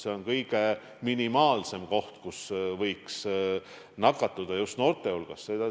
See on noorte hulgas kõige minimaalsema nakatumise võimalusega koht.